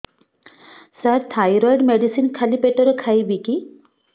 ସାର thyroid medicine ଖାଲି ପେଟରେ ଖାଇବି କି